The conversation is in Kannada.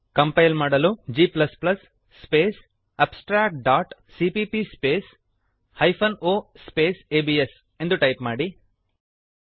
ಕಂಪೈಲ್ ಮಾಡಲು g space abstract dot CPP space hyphen o space ABS ಎಂದು ಟೈಪ್ ಮಾಡಿರಿ